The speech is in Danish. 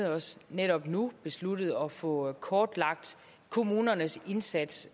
også netop nu besluttet at få kortlagt kommunernes indsats